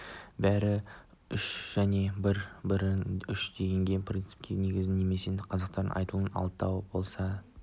бәрі үшін және бәрі бірі үшін деген принципке негізделген немесе қазақтар айтатынындай алтау ала болса